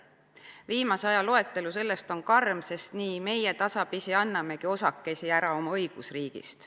Viimase aja loetelu sellest on karm, sest nii meie tasapisi annamegi osakesi oma õigusriigist.